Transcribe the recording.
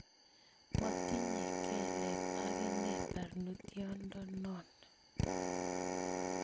Motinye kelek akine barnotyotdonon